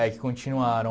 É, que continuaram.